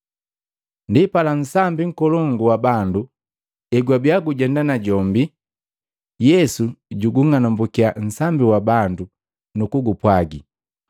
Ndipala, nsambi nkolongu wa bandu egwabiya gujenda najombi, Yesu jugung'anumbukiya nsambi wa bandu nakugupwagi,